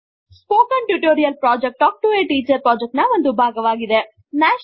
spoken tutorial project talk to a teacher project ನ ಒಂದು ಭಾಗವಾಗಿದೆ